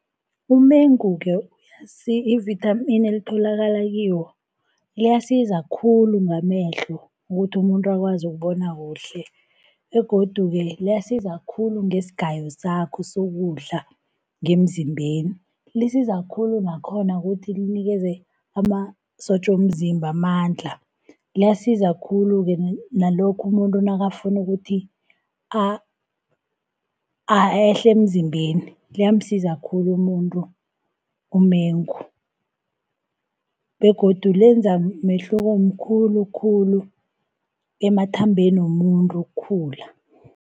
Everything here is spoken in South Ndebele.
Umengu-ke ivithamini elitholakala kiwo liyasiza khulu ngamehlo, ukuthi umuntu akwazi ukubona kuhle, begodu-ke liyasiza khulu ngesigayo sakho sokudla ngemzimbeni. Lisiza khulu nakhona ukuthi linikeze amasotja womzimba amandla. Liyasiza khulu-ke nalokha umuntu nakafuna ukuthi ehle emzimbeni, liyamsiza khulu umuntu umengo, begodu lenza umehluko omkhulu khulu emathambeni womuntu ukukhula.